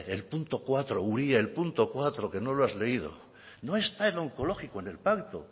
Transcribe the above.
iturrate el punto cuatro uria el punto cuatro que no lo has leído no está el onkologikoa en el pacto